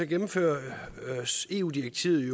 gennemføres eu direktivet